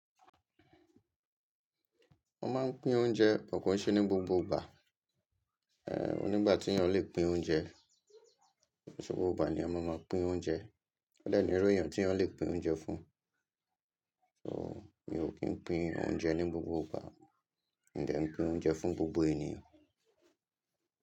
Mọ́ máa ń pín oúnjẹ but kọ̀ọ̀ ṣe ní gbogbo igbà. Ehn, oní igbà tí èèyàn le pin oúnjẹ, ko nṣé gbogbo ìgbà ni eyan máa máa pín oúnjẹ odẹ́ ní irú èèyàn tí eyan le pín oúnjẹ fún. So, mi ò kì í pín oúnjẹ ní gbogbo ìgbà, mi dẹ̀ n pín oúnjẹ fún gbogbo ènìyàn.